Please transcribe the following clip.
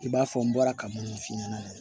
I b'a fɔ n bɔra ka minnu f'i ɲɛna